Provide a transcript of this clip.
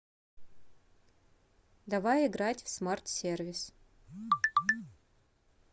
давай играть в смарт сервис